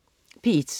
P1: